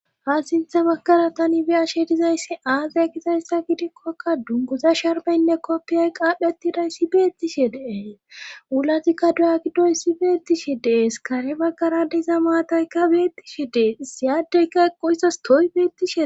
ha sintha baggara tani biyashe dizayssi aazaya kizayssa gidikkokka dunguza sharbeynne koppiyay qaapheti dayssi beettishe dees wulatikka duya giddoy si beettishe dees kare baggara diza maataykka bettishe dees siyaadeyka eqqoissas tooy beettishe